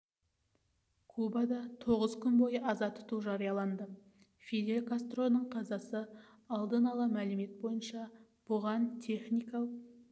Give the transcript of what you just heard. кубада тоғыз күн бойы аза тұту жарияланды фидель кастроның қазасы алдын ала мәлімет бойынша бұған техникалық